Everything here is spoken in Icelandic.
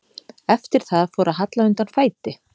Eftir það fór að halla undan fæti.